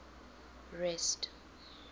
rest